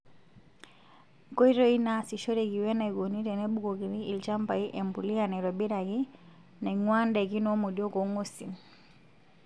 Nkoitoi naasishoreki wenaikoni tenebukokini ilchambai empuliya naitobiraki naing'ua ndaikin womodiok oong'wesin.